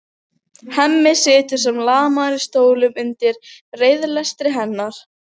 Hemmi situr sem lamaður í stólnum undir reiðilestri hennar.